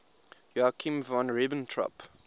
joachim von ribbentrop